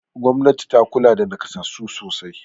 Gwamnati ta kula da naƙasassu sosai.